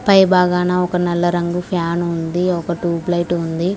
పై భాగాన ఒక నల్ల రంగు ఫ్యాన్ ఉంది ఒక ట్యూబ్ లైట్ ఉంది.